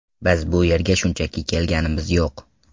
Biz bu yerga shunchaki kelganimiz yo‘q.